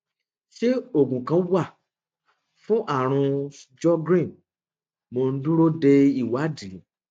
ṣé oògùn kan wà fún àrùn sjogren mo ń dúró de ìwádìí